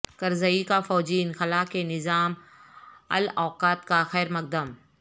کرزئی کا فوجی انخلا کے نظام الاوقات کا خیرمقدم